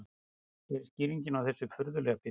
Hver er skýringin á þessu furðulega fyrirbæri?